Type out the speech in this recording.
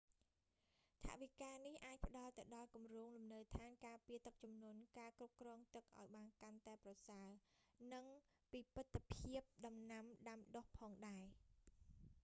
ថវិកានេះអាចផ្ដល់ទៅដល់គម្រោងលំនៅដ្ឋានការពារទឹកជំនន់ការគ្រប់គ្រងទឹកឲ្យបានកាន់តែប្រសើរ និងពិពិធភាពដំណាំដាំដុះផងដែរ